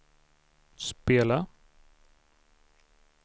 spela